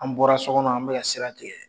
An bɔra so kɔnɔ an be ka sira tigɛ